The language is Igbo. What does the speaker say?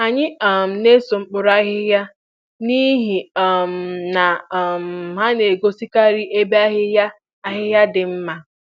Anyị um na-eso mkpuru ahịhịa, n'ihi um na um ha na-egosikarị ebe ahịhịa ahịhịa dị mma.